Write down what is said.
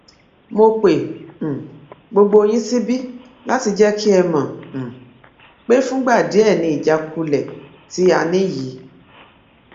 mo pe um gbogbo yín síbí láti jẹ kí ẹ mọ um pé fúngbà díẹ ni ìjákulẹ tí a ní yìí